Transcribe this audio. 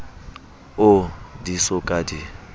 oo di so ka di